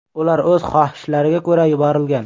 Ular o‘z xohishlariga ko‘ra yuborilgan.